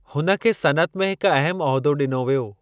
हुन खे सनइत में हिकु अहमु उहिदो ॾिनो वियो।